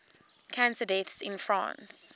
cancer deaths in france